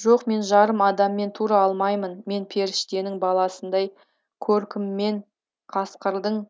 жоқ мен жарым адаммен тура алмаймын мен періштенің баласындай көркіммен қасқырдың